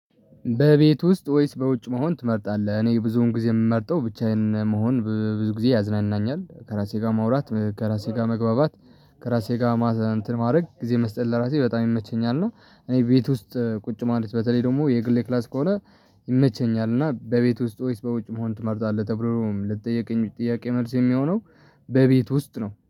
በቤት ውስጥ ወይስ በውጭ መሆን ትመርጣለህ? እኔ ብዙውን ጊዜ የምመርጠው ብቻዬን መሆን ብዙ ጊዜ ያዝናናኛል ከራሴ ጋር ማውራት ከራሴ ጋር መግባባት ከራሴ ጋር ማዘን እንትን ማድረግ ጊዜ መስጠት ለራሴ በጣም ይመቸኛል ነው። እኔ ቤት ውስጥ ቁጭ ማለት በተለይ ደግሞ የግሌ ክላስ ከሆነ። ይመቸኛል እና በቤት ውስጥ ወይስ በውጭ መሆን ትመርጣለህ ተብሎ ለተጠየቀኝ ጥያቄ መልስ የሚሆነው በቤት ውስጥ ነው